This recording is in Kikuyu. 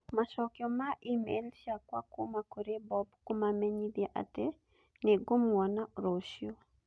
Macokio ma e-mail ciakwa kuuma kũrĩ Bob kũmamenyithia atĩ nĩ ngũmona rũciũ